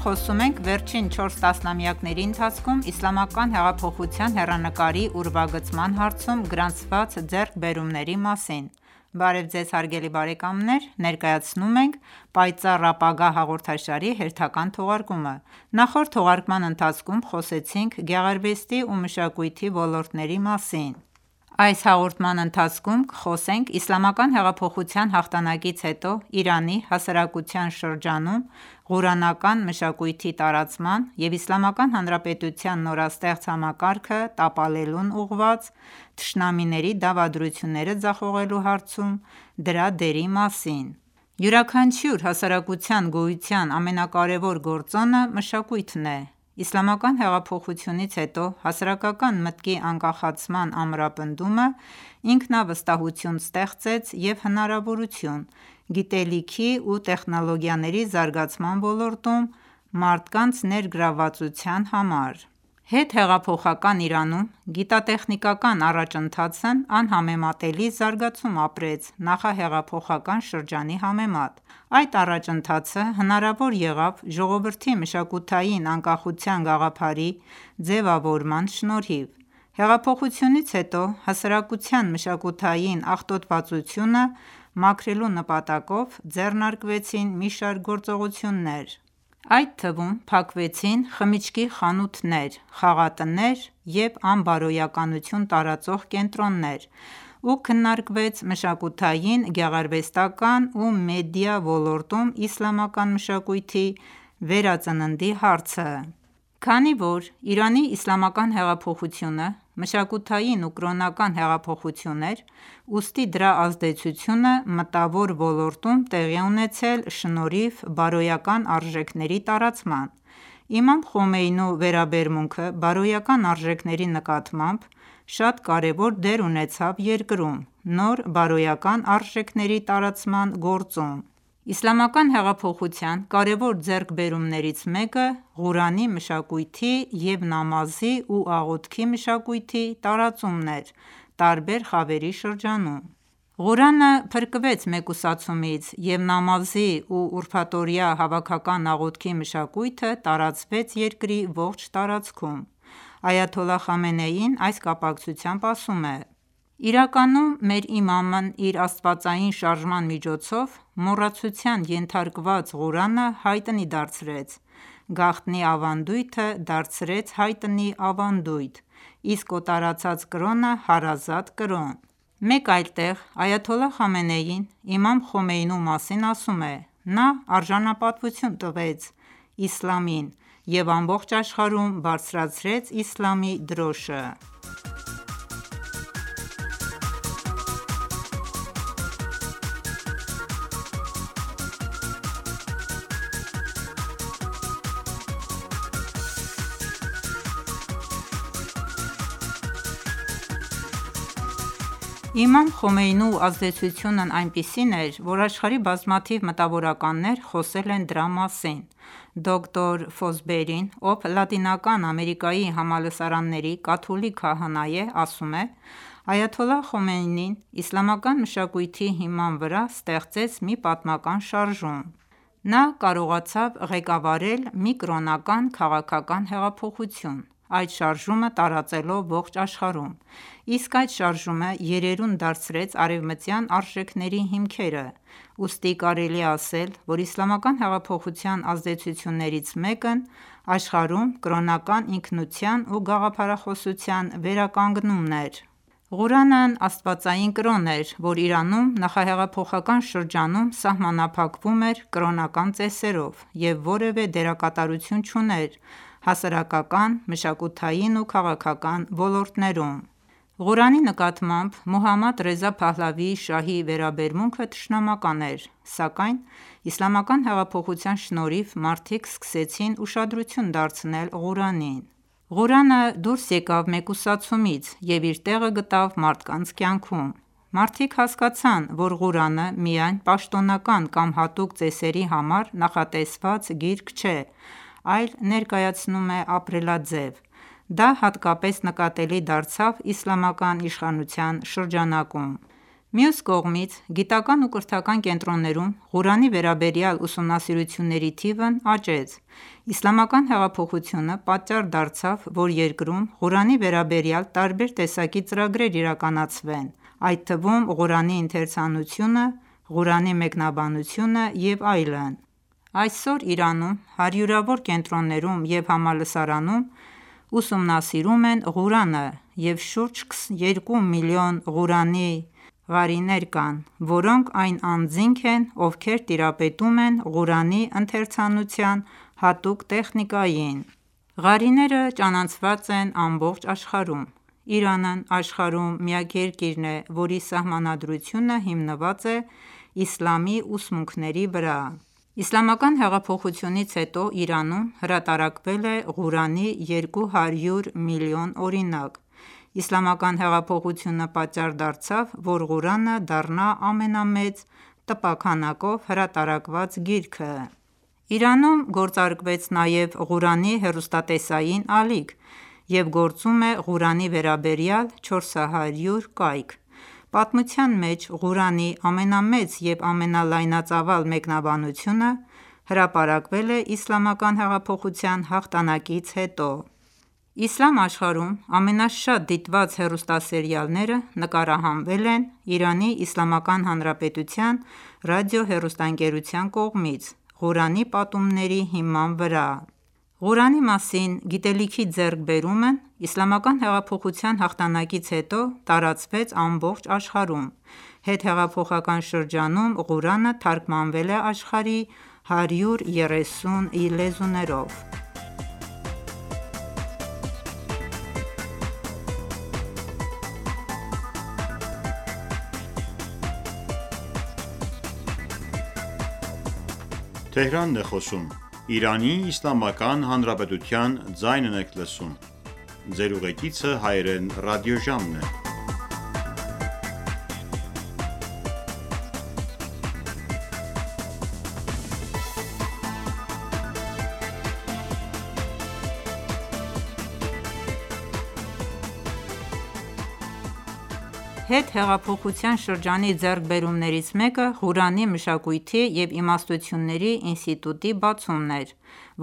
խոսում ենք վերջին 4 տասնամյակների ընթացքում իսլամակայն հեղափոխության հեռանկարի ուրվագծման հարցում գրանցված ձեռքբերումների մասին: Բարև Ձեզ, հարգելի բարեկամներ: Ներկայացնում ենք «Պայծառ ապագա» հաղորդաշարի հերթական թողարկումը: Նախորդ թողարկման ընթացքում խոսեցինք գեղարվեստի ու մշակույթի ոլորտների մասին: Այս հաղորդման ընթացքում կխոսենք իսլամական հեղափոխութան հաղթանակից հետո Իրանի հասարակության շրջանում ղուրանական մշակույթի տարածման և Իսլամական Հանրապետության նորաստեղծ համակարգը տապալելուն ուղղված՝ թշնամիների դավադրությունները ձախողելու հարցում դրա դերի մասին: Յուրաքանչյուր հասարակության գոյության ամենակարևոր գործոնը մշակույթն է: Իսլամական հեղափոխությունից հետո հասարակական մտքի անկախացման ամրապնդումը ինքնավստահություն ստեղծեց և հնարավորություն՝ գիտելիքի ու տեխնոլոգիաների զարգացման ոլորտում մարդկանց ներգրավվածության համար: Հետհեղափոխական Իրանում գիտատեխինիկական առաջընթացն անհամեմատելի զարգացում ապրեց նախահեղափոխական շրջանի համեմատ: Այդ առաջընթացը հնարավոր եղավ ժողովրդի մշակութային անկախության գաղափարի ձևավորման շնորհիվ: Հեղափոխությունից հետո, հասարակության մշակութային աղտոտվածությունը մաքրելու նպատակով, ձեռնարկվեցին մի շարք գործողություններ, այդ թվում փակվեցին խմիչքի խանութներ, խաղատներ, ու անբարոյականություն տարածող կենտրոններ և քննարկվեց մշակութային, գեղարվեստական ու մեդիա ոլորտներում իսլամական մշակույթի վերածննդի հարցը: Քանի որ Իրանի իսլամական հեղափոխությունը մշակությաին ու կրոնական հեղափոխություն էր, ուստի դրա ազդեցությունը մտավոր ոլորտում տեղի է ունեցել շնորհիվ բարոյական արժեքների տարածման: Իմամ Խոմեյնու վերաբերմունքը բարոյական արժեքների նկատմամբ, շատ կարևոր դեր ունեցավ երկրում նոր բարոյական արժեքների տարածման գործում: Իսլամական հեղափոխության կարևոր ձեռքբերումներից մեկը Ղուրանի մշակույթի և նամազի ու աղոթքի մշակույթի տարածումն էր տարբեր խավերի շրջանում: Ղուրանը փրկվեց մեկուսացումից և նամազի և ուրաբթօրյա հավաքական աղոթքի մշակույթը տարածվեց երկրի ողջ տարածքում: Այաթոլլահ Խամենեին այս կապակցությամբ ասում է. «Իրականում, մեր իմամն իր աստվածային շարժման միջոցով մոռացության ենթարկված Ղուրանը հայտնի դարձրեց, գաղտնի ավանդույթը դարձրեց հայտնի ավանդույթ, իսկ օտարացած կրոնը՝ հարազատ կրոն»: Մեկ այլ տեղ, այաթոլլահ Խամենեին իմամ Խոմեյնու մասին ասում է. «Նա արժանապատվություն տվեց իսլամին և ամբողջ աշխարհում բարձրացրեց իսլամի դրոշը»: Իմամ Խոմեյնու ազդեցությունն այնպիսին էր, որ աշխարհի բազմաթիվ մտավորականներ խոսել են դրա մասին: Դոկտոր Ֆոսբերին, ով Լատինական Ամերիկայի համալսարանների կաթոլիկ քահանա է, ասում է. «Այաթոլլահ Խոմեյնին իսլամական մշակույթի հիման վրա ստեղծեց մի պատմական շարժում: Նա կարողացավ ղեկավարել մի կրոնական-քաղաքական հեղափոխություն, այդ շարժումը տարածելով ողջ աշխարհում: Իսկ այդ շարժումը երերուն դարձրեց արևմտյան արժեքնեերի հիմքերը: Ուստի կարելի է ասել, որ իսլամական հեղափոխության ազդեցություններից մեկն աշխարհում կրոնական ինքնության ու գաղափարախոսության վերականգնումն էր»: Ղուրանն աստվածային կրոն էր, որ Իրանում նախահեղափոխական շրջանում սահմանափակվում էր կրոնական ծեսերով և որևէ դերակատարություն չուներ հասարակական, մշակութային ու քաղաքական ոլորտներում: Ղուրանի նկատմամբ Մոհամմադ Ռեզա Փահլավի շահի վերաբերմունքը թշնամական էր: Սակայն իսլամական հեղափոխության շնորհիվ, մարդիկ սկսեցին ուշադրություն դարձնել Ղուրանին: Ղուրանը դուրս եկավ մեկուսացումից ու իր տեղը գտավ մարդկանց կյանքում: Մարդիկ հասկացան, որ Ղուրանը միայն պաշտոնական կամ հատուկ ծեսերի համար նախատեսված գիրք չէ, այլ ներկայացնում է ապրելաձև: Դա հատկապես նկատելի դարձավ իսլամական իշխանության շրջանակում: Մյուս կողմից, գիտական ու կրթական կենտրոններում Ղուրանի վերաբերյալ ուսումնասիրությունների թիվն աճեց: Իսլամական հեղափոխությունը պատճառ դարձավ, որ երկրում Ղուրանի վերաբերյալ տարբեր տեսակի ծրագրեր իրականացվեն, այդ թվում՝ Ղուրանի ընթերցանությունը, Ղուրանի մեկնաբանությունը և այլն: Այսօր Իրանում հարյուրավոր կենտրոններում և համալսարանում ուսումնասիրում են Ղուրանը և շուրջ 2 միլիոն Ղուրանի ղարիներ կան, որոնք այն անձինք են, ովքեր տիրապետւմ են Ղուրանի ընթերցանության հատուկ տեխնիկային: Ղարիները ճանաչված են ամբողջ աշխարհում: Իրանն աշխարհում միակ երկիրն է, որի Սահմանադրությունը հիմնված է իսլամի ուսմունքների վրա: Իսլամական հեղափոխությունից հետո Իրանում հրատարակվել է Ղուրանի 200 միլիոն օրինակ: Իսլամական հեղափոխությունը պատճառ դարձավ, որ Ղուրանը դառնա ամենամեծ տպաքանակով հրատարակված գիրքը: Իրանում գործարկվեց նաև Ղուրանի հեռուստատեսային ալիք և գործում է Ղուրանի վերաբերյալ 400 կայք: Պատմության մեջ Ղուրանի ամենամեծ և ամենալայնածավալ մեկնաբանությունը հրապարակվել է իսլամական հեղափոխության հաղթանակից հետո: Իսլամ աշխարհում ամենաշատ դիտված հեռուստասերիալները նկարահանվել են ԻԻՀ ռադիոհեռուստաընկերության կողմից, Ղուրանի պատումների հիման վրա: Ղուրանի մասին գիտելքի ձեռքբերումն իսլամական հեղափոխության հաղթանակից հետո տարածվեց ամբողջ աշխարհում: Հետհեխափոխական շրջանում Ղուրանը թարգմանվել է աշխարհի 130 լեզուներով: Հետհեղափոխության շրջանի ձեռքբերումներից մեկը Ղուրանի մշակույթի և իմաստությունների ինստիտուտի բացումն էր,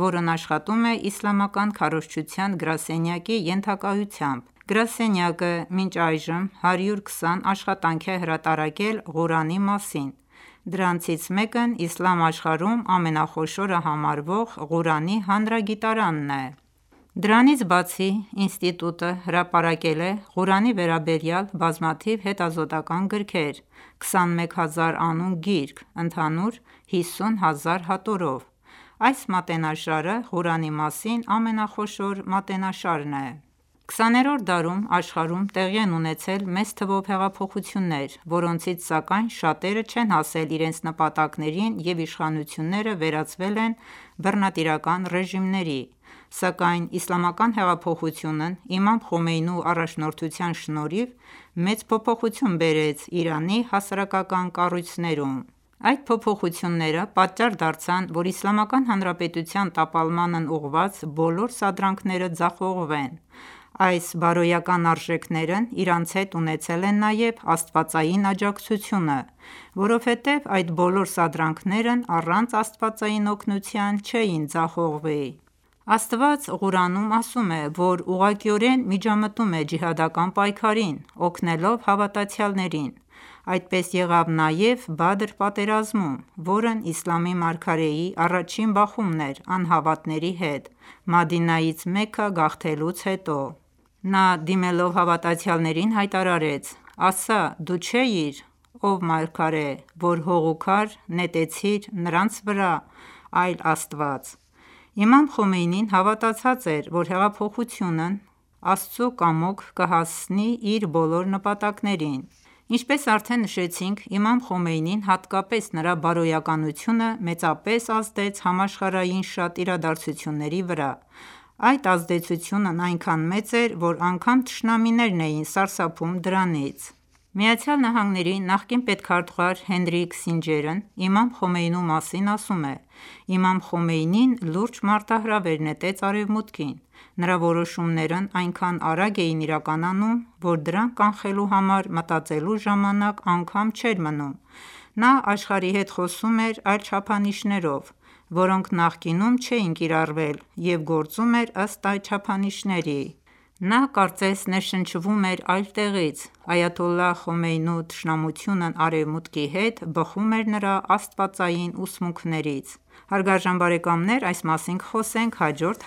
որն աշխատում է իսլամական քարոզչության գրասենյակի ենթակայությամբ: Գրասենյակը մինչ այժմ 120 աշխատանք է հրատարակել Ղուրանի մասին: Դրանցից մեկն իսլամ աշխարհում ամենախոշորը համարվող Ղուրանի հանրագիտարանն է: Դրանից բացի, ինստիտուտը հրապարակել է Ղուրանի վերաբերյալ բազմաթիվ հետազոտոական գրքեր՝ 21 հազար անուն գիրք, ընդհանուր 50 հազար հատորով: Այս մատենաշարը Ղուրանի մասին ամենախոշոր մատենաշարն է: 20-րդ դարում աշխարհում տեղի են ունեցել մեծ թվով հեղափոխություններ, որոնցից սակայն, շատերը չեն հասել իրենց նպատակներին և իշխանությունները վերածվել են բռնատիրական ռեժիմների: Սակայն իսլամական հեղափոխությունն իմամ Խոմեյնու առաջնորդության շնորհիվ, մեծ փոփոխություններ բերեց Իրանի հասարակական կառույցներում: Այդ փոփոխությունները պատճառ դարձան, որ Իսլամական Հանրապետության տապալմանն ուղղված բոլոր սադրանքները ձախողվեն: Այս բարոյական արժեքներն իրենց հետ ունեցել են նաև աստվածային աջակցությունը, որովհետև այդ բոլոր սադրանքներն առանց աստվածային օգնության չէին ձախողվի: Աստված Ղուրանում ասում է, որ ուղղակիորեն միջամտում է ջիհադական պայքարին՝ օգնելով հավատացյալներին: Այդպես եղավ նաև Բադր պատերազմում, որն իսլամի մարգարեի առաջին բախումն էր անհավատների հետ, Մադինայից Մեքքա գաղթելուց հետո: Նա, դիմելով հավատացյալներին, հայտարարեց. «Ասա, դու չէիր (ով մարգարե, որ հող ու քար) նետեցիր նրանց վրա, այլ՝ Աստված»: Իմամ Խոմեյնին հավատացած էր, որ հեղափոխությունն Աստծու կամոք կհասինի իր բոլոր նպատակներին: Ինչպես արդեն նշեցինք, իմամ Խոմեյնին, հատկապես նրա բարոյականությունը, մեծապես ազդեց համաշխարհային շատ իրադաձությունների վրա: Այդ ազդեցությունն այնքան մեծ էր, որ անգամ թշնամիներն էին սարսափում դրանից: ԱՄՆ նախկին պետքարտուղար Հենրի Քիսինջերն իմամ Խոմեյնու մասին ասում է. «Իմամ Խոմեյնին լուրջ մարտահրավեր նետեց Արևմուտքին: Նրա որոշումներն այնքան արագ էին իրականանում, որ դրանք կանխելու համար մտածելու ժամանակ անգամ չէր մնում: Նա աշխարհի հետ խոսում էր այլ չափանիշներով, որոնք նախկինում չէին կիրառվել և գործում էր ըստ այդ չափանիշների: Նա կարծես ներշնչվում էր այլ տեղից: Այաթոլլահ Խոմեյնու թշնամությունն Արևմուտքի հետ, բխում էր նրա աստվածային ուսմունքներից»: Այս մասին կխոսենք հաջորդ